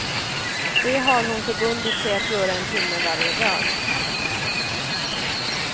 Det har hon förbundit sig att göra en timme varje dag.